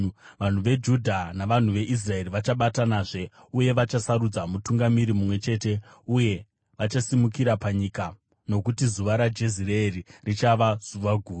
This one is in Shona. Vanhu veJudha navanhu veIsraeri vachabatanazve, uye vachasarudza mutungamiri mumwe chete uye vachasimukira panyika, nokuti zuva raJezireeri richava zuva guru.